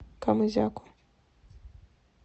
камызяку